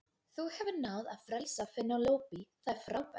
Þú hefur náð að frelsa Penélope, það er frábært.